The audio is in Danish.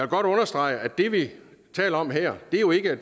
godt understrege at det vi taler om her jo ikke er